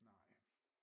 Nej